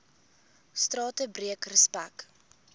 strate breek respek